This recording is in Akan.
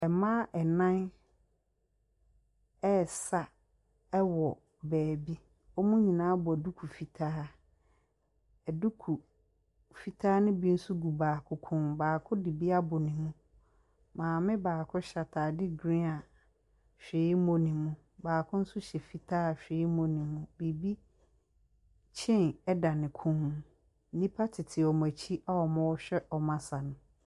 Ɛmmaa ɛnan ɛɛsa ɛwɔ bɛɛbi. Ɔɔmu nyinaa bɔ duku fitaa. Fitaa no bi so gu baako kɔn mu, baako di bi abɔ ne mo. Maami baako hyɛ atade grin a hwiii nnim mo. Baako hyɛ nso hyɛ fitaa a hwiii nni mo. Kyein ɛda ne kɔn mo. Nipa titi ɔmu ɛkyi a ɔmuhwɛ ɔmu asa no.